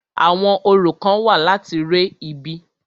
Àwọn orò kán wà láti re ibi.